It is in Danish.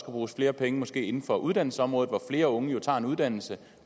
bruges flere penge inden for uddannelsesområdet hvor flere unge jo tager en uddannelse